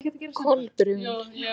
Kolbrún